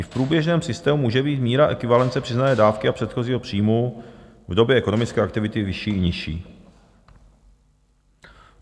I v průběžném systému může být míra ekvivalence přiznané dávky a předchozího příjmu v době ekonomické aktivity vyšší i nižší.